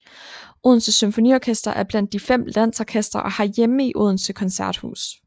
Odense Symfoniorkester er blandt de fem landsorkestre og har hjemme i Odense Koncerthus